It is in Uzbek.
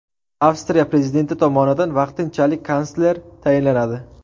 Avstriya prezidenti tomonidan vaqtinchalik kansler tayinlanadi.